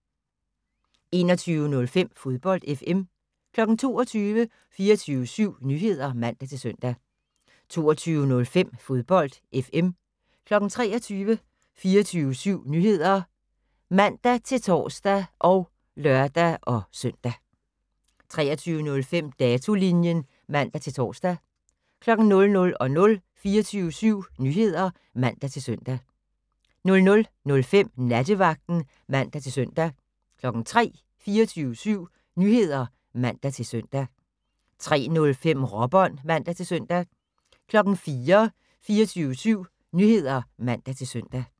21:05: Fodbold FM 22:00: 24syv Nyheder (man-søn) 22:05: Fodbold FM 23:00: 24syv Nyheder (man-tor og lør-søn) 23:05: Datolinjen (man-tor) 00:00: 24syv Nyheder (man-søn) 00:05: Nattevagten (man-søn) 03:00: 24syv Nyheder (man-søn) 03:05: Råbånd (man-søn) 04:00: 24syv Nyheder (man-søn)